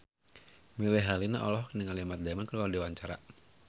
Melly Herlina olohok ningali Matt Damon keur diwawancara